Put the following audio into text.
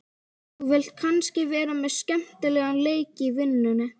Þú vilt kannski vera með skemmtilegan leik í vinnunni?